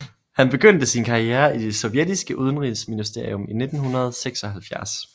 Han begyndte sin karriere i det sovjettiske udenrigsministerium i 1976